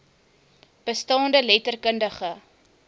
bestaande letter kundige